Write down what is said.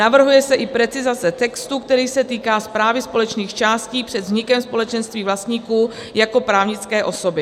Navrhuje se i precizace textu, který se týká správy společných částí před vznikem společenství vlastníků jako právnické osoby.